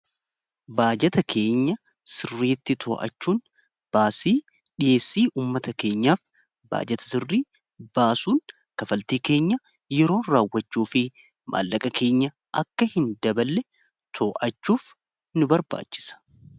Baajata keenya sirriitti too'achuun baasii dhiheessii ummata keenyaaf baajata sirrii baasuun kaffaltii keenya yeroon raawwachuu fi maallaqa keenya akka hin daballe too'achuuf nu barbaachisa.